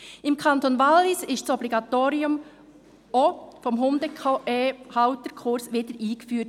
Im Kanton Wallis wurde das Obligatorium des Hundehalterkurses auch wieder eingeführt.